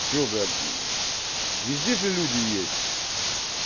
что блядь везде же люди есть